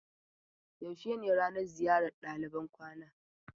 Yaushe ne ranan ziyar ɗaliban kwana?